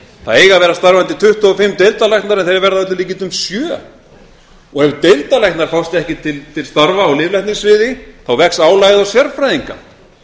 það eiga að vera starfandi tuttugu og fimm deildarlæknar en þeir verða að öllum líkindum sjö og ef deildarlæknar fást ekki til starfa á lyflækningasviði þá vex álagið á sérfræðinga